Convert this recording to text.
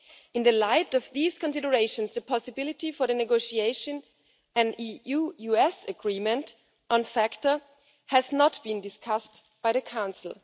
In light of these considerations the possibility for the negotiation of an EU US agreement on FATCA has not been discussed by the Council.